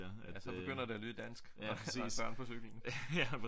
Ja så begynder det at lyde dansk når der er børn på cyklen